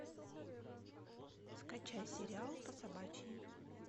скачай сериал по собачьи